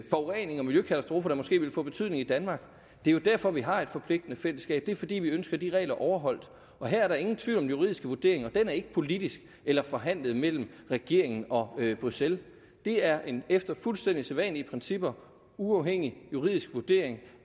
forurening og miljøkatastrofer der måske ville få betydning i danmark det er jo derfor vi har et forpligtende fællesskab det er fordi vi ønsker de regler overholdt her er der ingen tvivl om den juridiske vurdering og den er ikke politisk eller forhandlet mellem regeringen og bruxelles det er en efter fuldstændig sædvanlige principper uafhængig juridisk vurdering